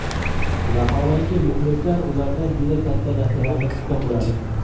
Vaholanki, muxlislar ulardan juda katta narsalarni kutgan bo‘ladi.